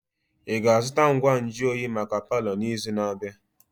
Ị ga-azụta ngwa nju oyi maka palọ n'izu na-abịa?